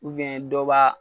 dɔw b'a